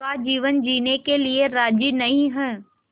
का जीवन जीने के लिए राज़ी नहीं हैं